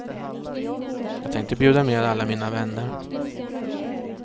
Jag tänkte bjuda med alla mina vänner.